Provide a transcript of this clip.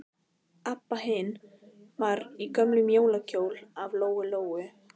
Abba hin var í gömlum jólakjól af Lóu-Lóu.